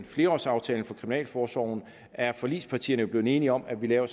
flerårsaftalen for kriminalforsorgen er forligspartierne jo blevet enige om at vi laver